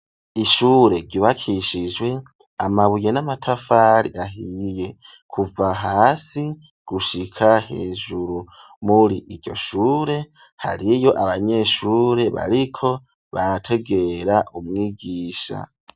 Ishure ryubakishijwe amabuye n'amatafari ahiye kuva hasi gushika hejuru. Muri iryo shure hariyo abanyeshure bariko barategera umwigisha.